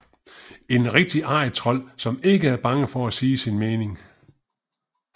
En rigtig arrigtrold som ikke er bange for at sige sin mening